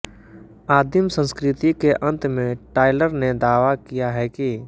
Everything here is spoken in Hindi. आदिम संस्कृति के अंत में टाइलर ने दावा किया है कि